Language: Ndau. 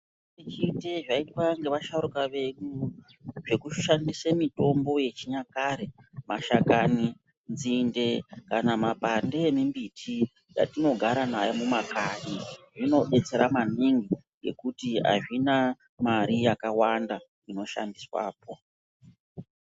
Zvizhinji zvaiitwa ngevasharuka vedu zvekushandise mitombo yechinyakare, mashakani, nzinde kana mapande embiti yatinogara nayo mumakanyi,, zvinodetsera maningi ngekuti hazvina mare yakawanda maningi unoshandiswapo.